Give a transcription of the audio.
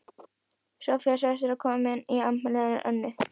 Soffía sagðist vera komin í afmælið hennar Önnu.